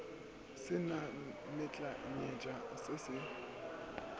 se na menyetla se se